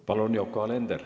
Palun, Yoko Alender!